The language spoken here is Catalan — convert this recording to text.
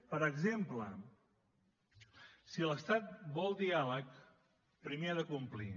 per exemple si l’estat vol diàleg primer ha de complir